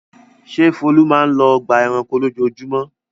Ṣé Folu máa ń lọ ọgbà-ẹranko lójoojúmọ́?